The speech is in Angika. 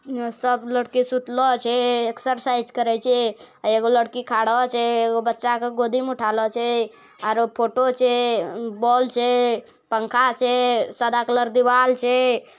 सब लड़की सुतलो छै एक्सरसाइज करे छै एगो लड़की खड़ो छै एगो बच्चा के गोदी में उठालो छै आरो फोटो छै बल्ब छै पंखा छै सादा कलर दीवार छै।